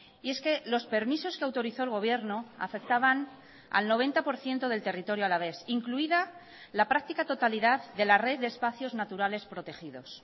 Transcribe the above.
y es que los permisos que autorizó el gobierno afectaban al noventa por ciento del territorio alavés incluida la práctica totalidad de la red de espacios naturales protegidos